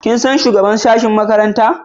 Kin san shugaban sashen makarantarka?